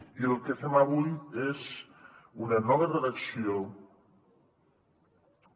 i el que fem avui és una nova redacció que